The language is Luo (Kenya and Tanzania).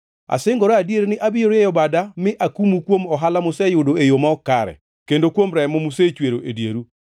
“ ‘Asingora adier ni abiro rieyo bada mi akumu kuom ohala museyudo e yo ma ok kare, kendo kuom remo musechwero e dieru.